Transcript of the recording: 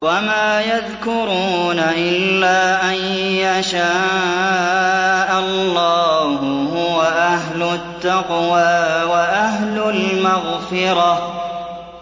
وَمَا يَذْكُرُونَ إِلَّا أَن يَشَاءَ اللَّهُ ۚ هُوَ أَهْلُ التَّقْوَىٰ وَأَهْلُ الْمَغْفِرَةِ